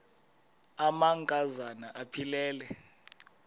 amanka zana aphilele